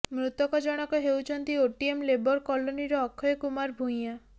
ମୃତକ ଜଣକ ହେଉଛନ୍ତି ଓଟିଏମ ଲେବର କଲୋନୀ ର ଅଖୟ କୁମାର ଭୂୟାଁ